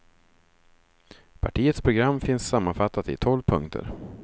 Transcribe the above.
Partiets program finns sammanfattat i tolv punkter.